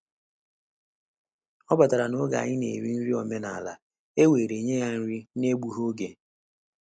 Ọ batara n’oge anyị na eri nri omenala, e were nye ya nri n’egbughị oge.